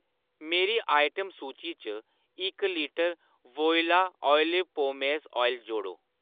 मेरी आइटम सूची च इक लीटर वोइला ऑलिव पोमेस ऑयल जोड़ो।